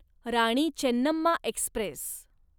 Rani Chennamma Express